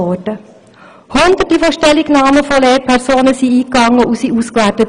Hunderte von Stellungnahmen von Lehrpersonen sind eingegangen und wurden ausgewertet.